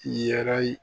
Yɛrɛ